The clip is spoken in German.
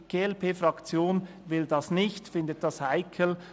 Die glp-Fraktion will das nicht und findet das heikel.